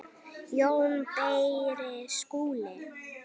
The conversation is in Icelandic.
JÓN BEYKIR: Skúli?